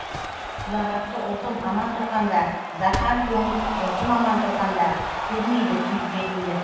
ұлағатты ұлтым аман тұрғанда дархан көңіл жұртым аман тұрғанда көрмейді күй жетімдік